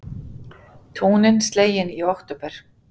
Túnin slegin í október